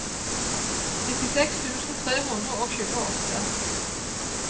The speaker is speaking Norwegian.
nittiseks tusen tre hundre og tjueåtte